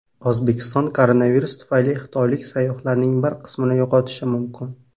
O‘zbekiston koronavirus tufayli xitoylik sayyohlarning bir qismini yo‘qotishi mumkin.